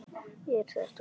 Er þetta ekki gott?